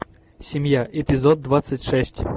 семья эпизод двадцать шесть